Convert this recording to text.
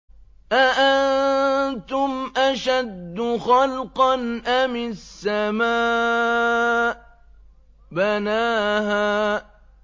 أَأَنتُمْ أَشَدُّ خَلْقًا أَمِ السَّمَاءُ ۚ بَنَاهَا